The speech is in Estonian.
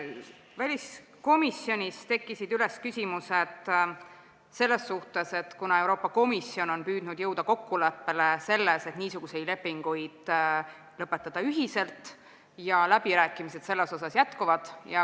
Väliskomisjonis tekkisid küsimused selle kohta, et Euroopa Komisjon on püüdnud jõuda kokkuleppele, et niisuguseid lepinguid ühiselt lõpetada, ja läbirääkimised selle üle jätkuvad.